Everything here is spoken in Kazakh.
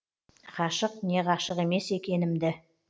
ғашық не ғашық емес екенімді